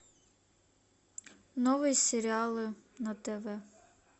новые сериалы на тв